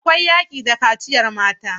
Akwai yaƙi da kaciyar mata.